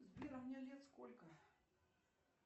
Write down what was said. сбер мне лет сколько